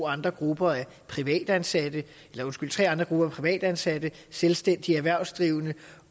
andre grupper er privatansatte privatansatte selvstændigt erhvervsdrivende